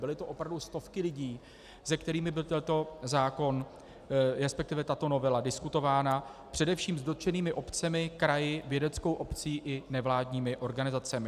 Byly to opravdu stovky lidí, s kterými byl tento zákon, respektive tato novela diskutována, především s dotčenými občany, kraji, vědeckou obcí i nevládními organizacemi.